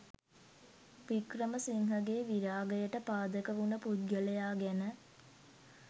වික්‍රමසිංහගේ විරාගයට පාදක වුන පුද්ගලයා ගැන